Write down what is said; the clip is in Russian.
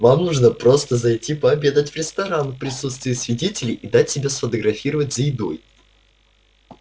вам нужно просто зайти пообедать в ресторан в присутствии свидетелей и дать себя сфотографировать за едой